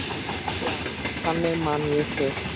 Já, þannig man ég þig.